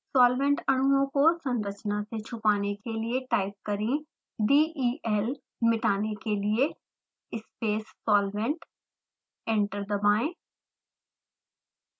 solvent अणुओं को संरचना से छुपाने के लिए टाइप करें del मिटाने के लिए space solvent